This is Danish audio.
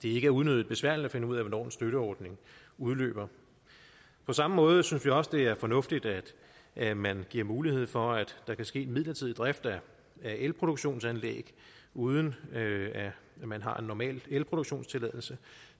er unødig besværligt at finde ud af hvornår en støtteordning udløber på samme måde synes vi også at det er fornuftigt at man giver mulighed for at der kan ske midlertidig drift af elproduktionsanlæg uden at man har en normal elproduktionstilladelse